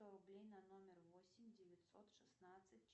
сто рублей на номер восемь девятьсот шестнадцать